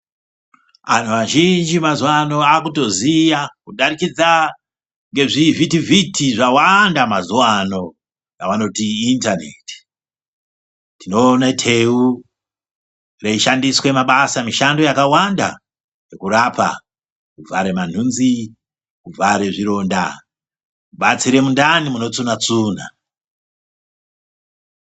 Antu azhinji emazuwa ano akutoziya kudarikidza ngezvivhiti vhiti zvawanda mazuwa ano zvavanoti indaneti. Tinoona teu reishandiswa mabasa mishando yakawanda yekurapa kuvhara mantunzi, kuvhare zvironda, kubatsire mundani munotsuna tsuna.